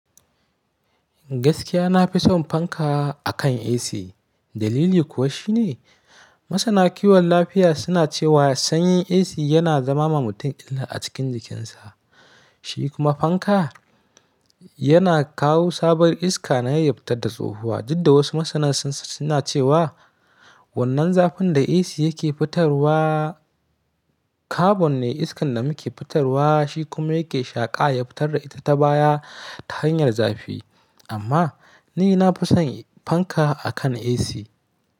Gaskiya na fi son fanka akan AC. Dalili kuwa shi ne, masana kiwon lafiya suna cewa sanyin AC yana zama ma mutum illa a cikin jikinsa. Shi kuma fanka yana kawo sabuwar iska na iya fitar da tsohuwa. Duk da wasu masana suna cewa wannan zafin da AC yake fitarwa, carbon ne iskan da muke fitarwa shi kuma yake shaƙa ya fitar da ita ta baya ta hanyar zafi. Amma ni na fi son fanka akan AC.